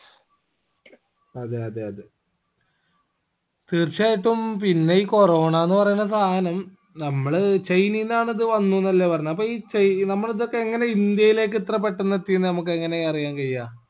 അതെ അതെ അതെ തീർച്ചയായിട്ടും പിന്നെ ഈ corona ന്ന് പറയിന്ന സാധനം നമ്മള് ചൈനയിന്നാണ് അത് വന്നൂന്നല്ലേ പറയിന്ന് അപ്പൊ ഈ ചൈ നമ്മള് ഇതൊക്കെ എങ്ങനെ ഇന്ത്യയിലേക്ക് ഇത്ര പെട്ടന്ന് എത്തിന്ന് നമുക്ക് എങ്ങനെ അറിയാൻ കയ്യ